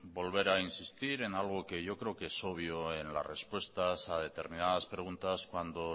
volver a insistir en algo que yo creo que es obvio en las respuestas a determinadas preguntas cuando